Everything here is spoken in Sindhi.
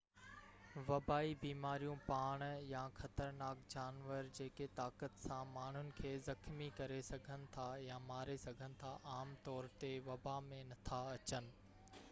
وبائي بيماريون پاڻ يا خطرناڪ جانور جيڪي طاقت سان ماڻهن کي زخمي ڪري سگهن ٿا يا ماري سگهن ٿا عام طور تي وبا ۾ نٿا اچن